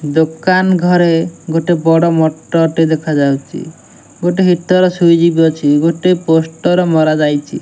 ଦୋକାନ ଘରେ ଗୋଟେ ବଡ ମଟର ଟେ ଦେଖା ଯାଉଛି ଗୋଟେ ହିଟର ସ୍ୱିଚ ବି ଅଛି ଗୋଟେ ପୋଷ୍ଟର ମରା ଯାଇଛି।